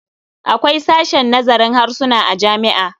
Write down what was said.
Akwai sashen nazarin harsuna a jami'a.